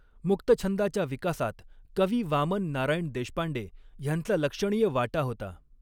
मुक्तछंदाच्या विकासात कवी वामन नारायण देशपांडे ह्यांचा लक्षणीय वाटा होता.